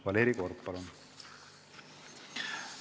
Valeri Korb, palun!